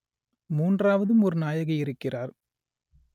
மூன்றாவதும் ஒரு நாயகி இருக்கிறார்